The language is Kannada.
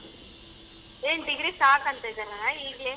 ಏನ್ degree ಸಾಕಂತಿದಾರ ಈಗಲೇ.